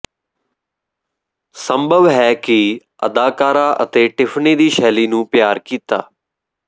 ਸੰਭਵ ਹੈ ਕਿ ਅਦਾਕਾਰਾ ਅਤੇ ਟਿਫ਼ਨੀ ਦੀ ਸ਼ੈਲੀ ਨੂੰ ਪਿਆਰ ਕੀਤਾ